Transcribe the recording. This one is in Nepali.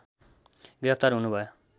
गिरफ्तार हुनु भयो